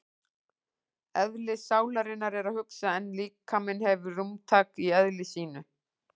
Eðli sálarinnar er að hugsa en líkaminn hefur rúmtak í eðli sínu.